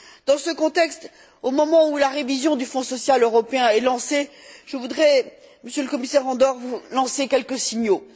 Dans ce contexte, au moment où la révision du Fonds social européen est lancée, je voudrais, Monsieur le Commissaire Andor, vous lancer quelques signaux.